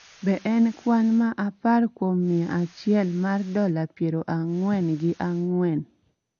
Be en kwan ma apar kuom mia achiel ma dola piero ang�wen gi ang�wen?